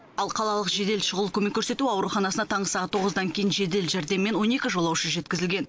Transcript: ал қалалық жедел шұғыл көмек көрсету ауруханасына таңғы сағат тоғыздан кейін жедел жәрдеммен он екі жолаушы жеткізілген